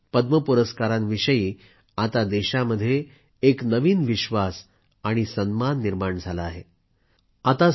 त्यामुळेच पद्म पुरस्कारांविषयी आता देशामध्ये एक नवीन विश्वास आणि सन्मान निर्माण झाला आहे